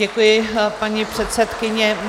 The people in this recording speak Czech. Děkuji, paní předsedkyně.